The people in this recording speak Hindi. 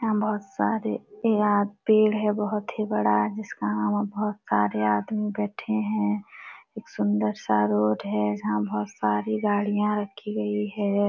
यहाँ बहुत सारे प्याद पेड़ है बहुत ही बड़ा जिसका बहुत सारे आदमी बैठे है एक सुंदर सा रोड है जहाँ बहुत सारी गाड़ियां रखी गई है।